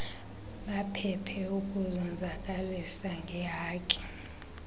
baphephe ukuzonzakalisa ngeehaki